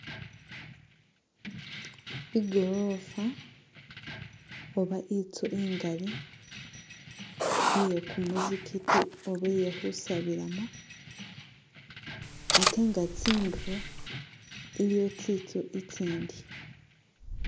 Igorofa oba inzu ingali iye kumuzigiti oba iye khusabilamo ate nga tsinduro iliyo tsinzu itsindi.